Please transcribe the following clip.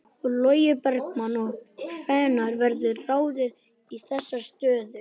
Logi Bergmann: Og hvenær verður ráðið í þessar stöður?